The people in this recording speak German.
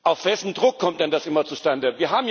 Auf wessen Druck kommt denn das immer zustande?